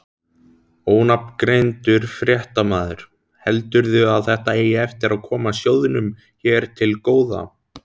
Ónafngreindur fréttamaður: Heldurðu að þetta eigi eftir að koma sjóðnum hér til góða?